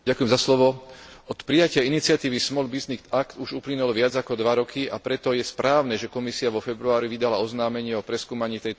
Od prijatia iniciatívy Small Business Act už uplynulo viac ako dva roky, a preto je správne, že Komisia vo februári vydala oznámenie o preskúmaní tejto iniciatívy.